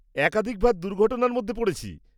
-একাধিকবার দুর্ঘটনার মধ্যে পড়েছি।